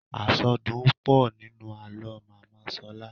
Àsọdùn pọ̀ nínú àlọ́ màmá Ṣọlá.